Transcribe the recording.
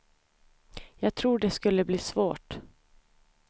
Jag tror det skulle bli svårt.